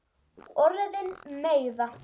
Orðin meiða.